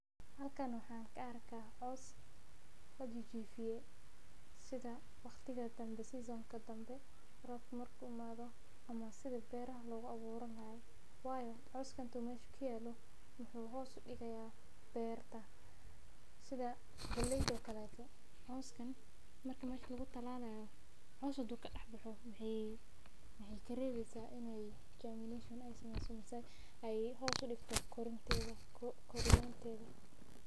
Halkaan waxaan ka arkaa coos la jijififiye sida waqtiga danbe, season ka danbe, rob marku maado ama sida beeraha looga buuraan lahayd. Waayo, cooskan tuumeshu kielo wuxuu hoos u digaya beerta sida galeydha kalato. Cooskan markii ma aysan lagu talaalayo, hoos u duga dhahay wuxuu yidhi karigaa in ay germination ay samaysan, isaga ay hoos u dhigtaas kooriyaal.